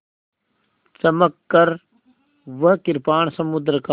चमककर वह कृपाण समुद्र का